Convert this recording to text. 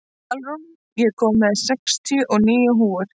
Svalrún, ég kom með sextíu og níu húfur!